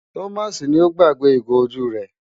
Thomas ni ó gbàgbé ìgò ojú rẹ̀.